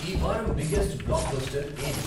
ఈ వారం biggest blockbuster ఏది?